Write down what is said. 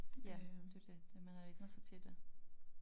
Ja det jo det det man har vænnet sig til det